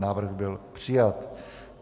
Návrh byl přijat.